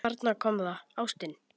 Þarna kom það: Ástin.